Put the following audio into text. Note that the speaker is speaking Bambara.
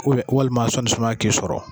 kole walima sɔni sumaya k'i sɔrɔ